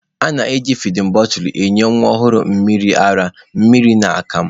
A na-eji fidin bọtụlụ enye nwa ọhụrụ mmiri ara, mmiri na akamụ.